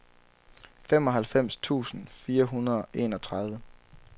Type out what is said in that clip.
femoghalvfems tusind fire hundrede og enogtredive